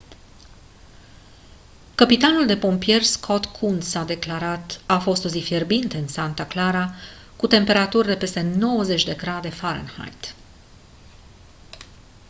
căpitanul de pompieri scott kouns a declarat: «a fost o zi fierbinte în santa clara cu temperaturi de peste 90 de grade fahrenheit».